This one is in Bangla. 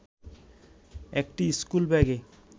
একটি স্কুল ব্যাগে